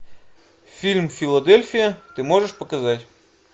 фильм филадельфия ты можешь показать